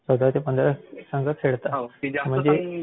चौदा ते पंधरा संघ खेळतात.